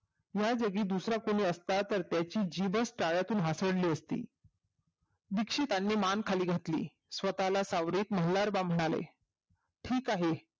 या जागी दुसरा कोणी तर असला असता तर त्याची जीभच तळ्यातून हासडली असती दीक्षितांनी मान खाली घातली स्वतः ला सावरत मल्हार राव म्हणाले ठीक आहे